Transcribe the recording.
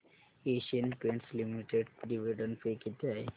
Asian Paints Limited dividend pay किती आहे